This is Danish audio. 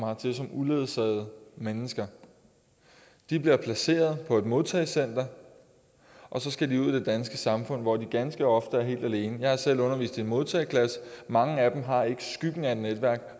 hertil som uledsagede mennesker de bliver placeret på et modtagecenter og så skal de ud i det danske samfund hvor de ganske ofte er helt alene jeg har selv undervist i en modtageklasse og mange af dem har ikke skyggen af et netværk